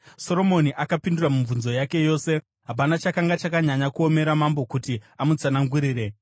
Soromoni akapindura mibvunzo yake yose; hapana chakanga chakanyanya kuomera mambo kuti amutsanangurire.